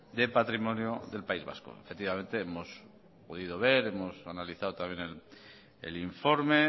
de patrimonio del país vasco efectivamente hemos podido ver hemos analizado también el informe